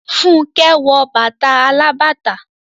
Fúnkẹ́ wọ bàtà alábàtà.